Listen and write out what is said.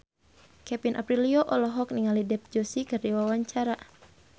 Kevin Aprilio olohok ningali Dev Joshi keur diwawancara